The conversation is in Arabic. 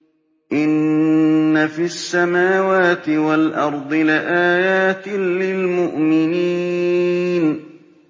إِنَّ فِي السَّمَاوَاتِ وَالْأَرْضِ لَآيَاتٍ لِّلْمُؤْمِنِينَ